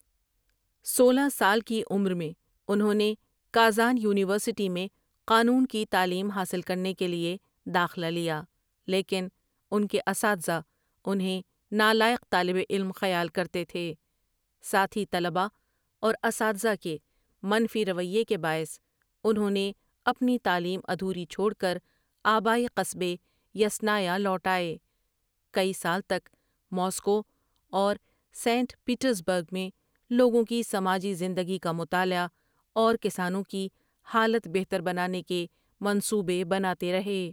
سولہ سال کی عمر میں انہوں نے کازان یونیورسٹی میں قانون کی تعلیم حاصل کرنے کے لیے داخلہ لیا لیکن اُن کے اساتذہ انہیں نالائق طالب علم خیال کرتے تھے ساتھی طلٍبا اور اساتذہ کے منفی رویے کے باعث انہوں نے اپنی تعلیم ادھوری چھوڑ کر آبائی قصبے یسنایا لوٹ آئے کئی سال تک ماسکو اور سینٹ پیٹرزبرگ میں لوگوں کی سماجی زندگی کا مطالعہ اورکسانوں کی حالت بہتر بنانے کے منصوبے بناتے رہے ۔